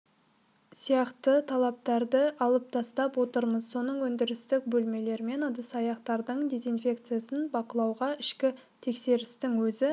сияқты талаптарды алып тастап отырмыз сосын өндірістік бөлмелер мен ыдыс-аяқтардың дезинфекциясын бақылауға ішкі тексерістің өзі